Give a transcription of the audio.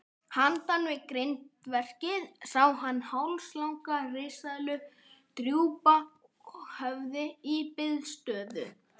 Handan við grindverkið sá hann hálslanga risaeðlu drúpa höfði í biðstöðu.